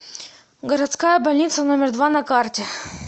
городская больница номер два на карте